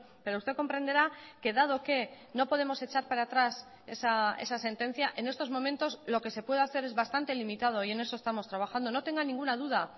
pero usted comprenderá que dado que no podemos echar para atrás esa sentencia en estos momentos lo que se puede hacer es bastante limitado y en eso estamos trabajando no tenga ninguna duda